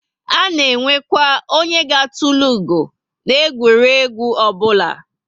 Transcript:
A na enwekwa onye ga etulu ugo na egwuregwu obula